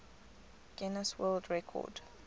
guinness world record